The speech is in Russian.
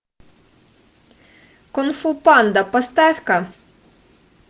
кунг фу панда поставь ка